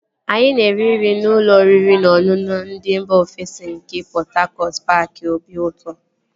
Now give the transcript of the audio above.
Anyị na-eri nri na ụlọ oriri na ọṅụṅụ ndị mba ofesi nke Pọt Hakọt paaki obiụtọ